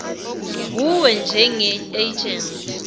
wuwe njenge agent